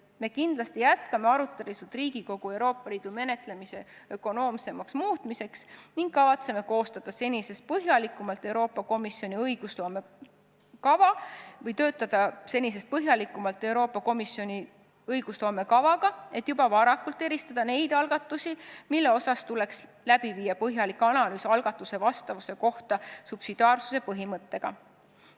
Me kindlasti jätkame arutelusid Riigikogus Euroopa Liidu otsustuste menetlemise ökonoomsemaks muutmiseks ning kavatseme töötada senisest põhjalikumalt Euroopa Komisjoni õigusloome kavaga, et juba varakult eristada neid algatusi, mille puhul tuleks teha põhjalik analüüs algatuse vastavuse kohta subsidiaarsuse põhimõttele.